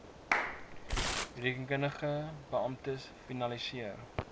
rekeningkundige beamptes finaliseer